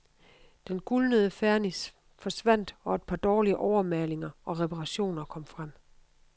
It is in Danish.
Den gulnede fernis forsvandt og et par dårlige overmalinger og reparationer fremkom.